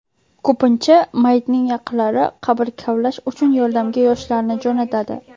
Ko‘pincha mayitning yaqinlari qabr kavlash uchun yordamga yoshlarni jo‘natadi.